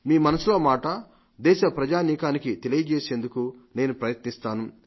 మీ మనసులో మాట దేశ ప్రజానీకానికి తెలియజేసేందుకు నేను ప్రయత్నిస్తాను